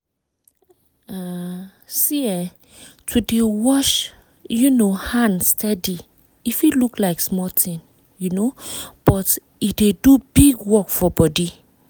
um see[um]to dey wash um hand steady e fit look like small thing um but e dey do big work for body